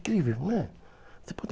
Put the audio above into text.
incrível, né?